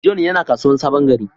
John yana kasuwan Sabon-gari.